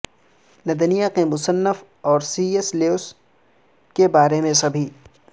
Narnia کے مصنف اور سی ایس لیوس کے بارے میں سبھی